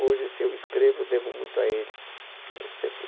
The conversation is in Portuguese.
Hoje, se eu escrevo, devo muito a ele. Eh, sempre